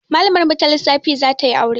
Malamar mu ta lissafi zatayi aure